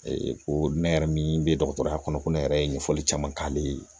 ko ne yɛrɛ min bɛ dɔgɔtɔrɔya kɔnɔ ko ne yɛrɛ ye ɲɛfɔli caman k'ale ye